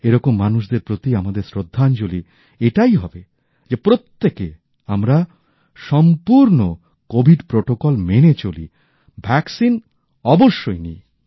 এরকম মানুষদের প্রতি আমাদের শ্রদ্ধাঞ্জলি এটাই হবে যে প্রত্যেকে আমরা সম্পুর্ণ কোভিড প্রোটোকল মেনে চলি ভ্যক্সিন অবশ্যই নিই